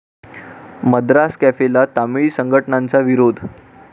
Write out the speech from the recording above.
मद्रास कॅफे'ला तामिळी संघटनांचा विरोध